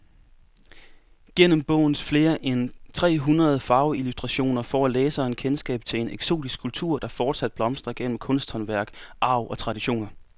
Gennem bogens flere end tre hundrede farveillustrationer får læseren kendskab til en eksotisk kultur, der fortsat blomstrer gennem kunsthåndværk, arv og traditioner.